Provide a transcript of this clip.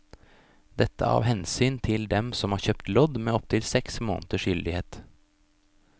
Dette av hensyn til dem som har kjøpt lodd med opptil seks måneders gyldighet.